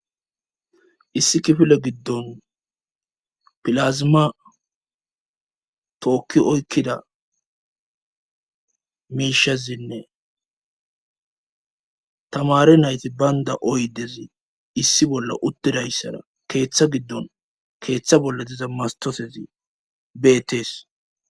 Issi kifile giddon pilazma tookki oykkida miishasinne tamari nayti baynda oydezi issi bolla uttidayssara keeththa giddon keeththa bolla diza mastofezi beettees